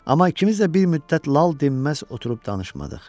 Amma ikimiz də bir müddət lal dinməz oturub danışmadıq.